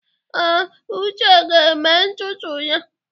Ee, Uche ga-eme ntutu ya.